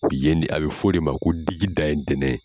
Yen de a bɛ fɔ o de ma ko digi da ye ntɛnɛn de ye.